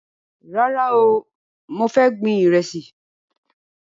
Rárá o, mo fẹ́ gbin Ìrẹ́sì